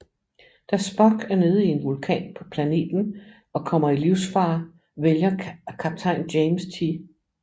Da Spock er nede i en vulkan på planeten og kommer i livsfare vælger kaptajn James T